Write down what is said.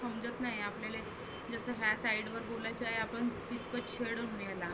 समजत नाही आपल्या एक तर. जसं ह्या site वर बोलायच आहे आपण